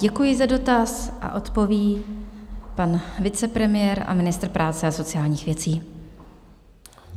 Děkuji za dotaz a odpoví pan vicepremiér a ministr práce a sociálních věcí.